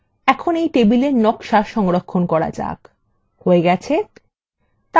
এখন এই table নকশা সংরক্ষণ করা যাক হয়ে গেছে